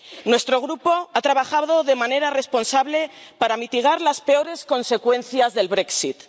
Nuestro grupo ha trabajado de manera responsable para mitigar las peores consecuencias del Brexit